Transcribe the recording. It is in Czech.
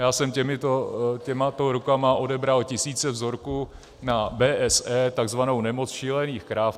Já jsem těmato rukama odebral tisíce vzorků na BSE, takzvanou nemoc šílených krav.